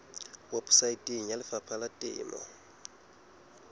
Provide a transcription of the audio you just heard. weposaeteng ya lefapha la temo